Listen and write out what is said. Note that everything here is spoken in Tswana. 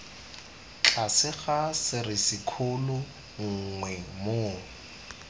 tlase ga serisikgolo nngwe moo